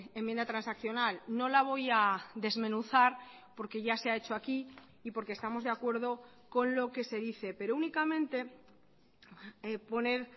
enmienda transaccional no la voy a desmenuzar porque ya se ha hecho aquí y porque estamos de acuerdo con lo que se dice pero únicamente poner